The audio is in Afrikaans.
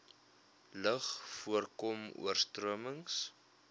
lug voorkom oorstromings